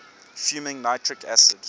fuming nitric acid